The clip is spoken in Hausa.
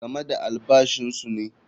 Game da albashinsu ne.